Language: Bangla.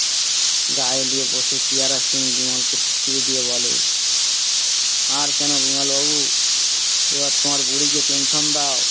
গাড়ি নিয়ে বসে বিমলকে টিটকিরি দিয়ে বলে। আর কেনো বিমল বাবু এবার তোমার বুড়ি কে পেনশন দাও